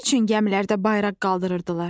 Nə üçün gəmilərdə bayraq qaldırardılar?